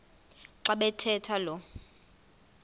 xa bathetha lo